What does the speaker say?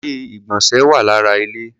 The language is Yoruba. Ilé-ìgbọ̀nsẹ̀ wà lára ilé.